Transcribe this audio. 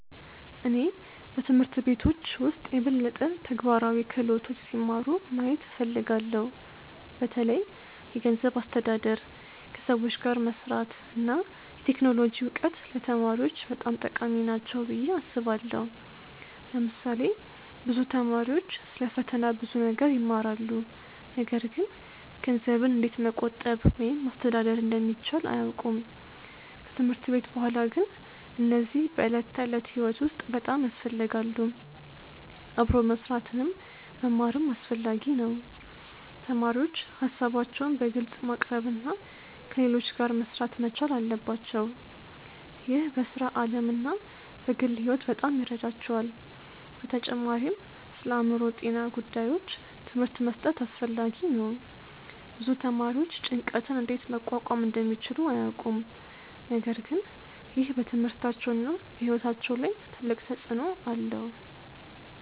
እኔ በትምህርት ቤቶች ውስጥ የበለጠ ተግባራዊ ክህሎቶች ሲማሩ ማየት እፈልጋለሁ። በተለይ የገንዘብ አስተዳደር፣ ከሰዎች ጋር መስራት እና የቴክኖሎጂ እውቀት ለተማሪዎች በጣም ጠቃሚ ናቸው ብዬ አስባለሁ። ለምሳሌ ብዙ ተማሪዎች ስለ ፈተና ብዙ ነገር ይማራሉ፣ ነገር ግን ገንዘብን እንዴት መቆጠብ ወይም ማስተዳደር እንደሚቻል አያውቁም። ከትምህርት ቤት በኋላ ግን እነዚህ በዕለት ተዕለት ሕይወት ውስጥ በጣም ያስፈልጋሉ። አብሮ መስራትንም መማርም አስፈላጊ ነው። ተማሪዎች ሀሳባቸውን በግልጽ ማቅረብ እና ከሌሎች ጋር መሥራት መቻል አለባቸው። ይህ በሥራ ዓለም እና በግል ሕይወት በጣም ይረዳቸዋል። በተጨማሪም ስለአእምሮ ጤና ጉዳዮች ትምህርት መስጠት አስፈላጊ ነው። ብዙ ተማሪዎች ጭንቀትን እንዴት መቋቋም እንደሚችሉ አያውቁም፣ ነገር ግን ይህ በትምህርታቸውና በሕይወታቸው ላይ ትልቅ ተጽእኖ አለው።